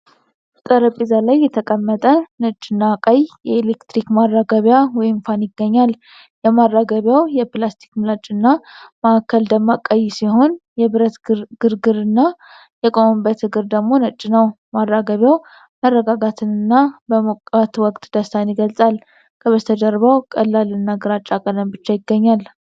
ጠረጴዛ ላይ የተቀመጠ ነጭና ቀይ የኤሌክትሪክ ማራገቢያ (ፋን) ይገኛል። የማራገቢያው የፕላስቲክ ምላጭና ማዕከል ደማቅ ቀይ ሲሆን፣ የብረት ፍርግርግና የቆመበት እግር ደግሞ ነጭ ነው። ማራገቢያው መረጋጋትንና በሞቃት ወቅት ደስታን ይገልጻል። ከበስተጀርባው ቀላልና ግራጫ ቀለም ብቻ ይገኛል።